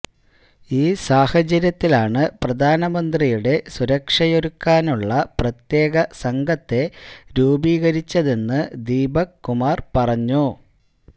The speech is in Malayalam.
ഈ സാഹചര്യത്തിലാണ് പ്രധാനമന്ത്രിയുടെ സുരക്ഷയൊരുക്കാനുള്ള പ്രത്യേക സംഘത്തെ രൂപീകരിച്ചതെന്ന് ദീപക് കുമാര് പറഞ്ഞു